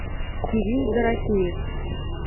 кирилл дорофеев